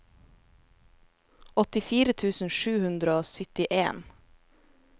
åttifire tusen sju hundre og syttien